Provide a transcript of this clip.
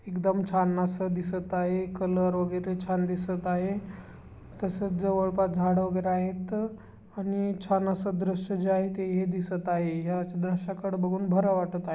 एकदम छान अस दिसत आहे कलर वगैरे छान दिसत आहे तसेच जवळ पास झाड वगैरे आहेत आणि छान अस दृश जे आहे ते है दिसत आहे ह्या दृष्याकडे बघून बर वाटत आहे.